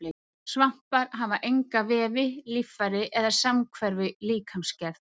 Svampar hafa enga vefi, líffæri eða samhverfu í líkamsgerð.